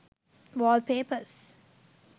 wall papers